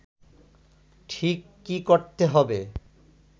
ঠিক কী করতে হবে